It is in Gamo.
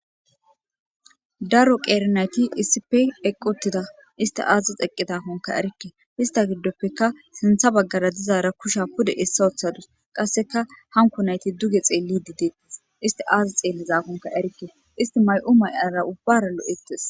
Daro qeeri nayti isipe eqquttida isti aazi x eqqi takonka erikke hista giddoppeka sintha baggara dizaara kusha pude essa oththadus qasseka hanko nayti duge xeelli di deettes isti aazi xeelli zaafonka erikke isti may7u may7ara ubbara lo7ettes.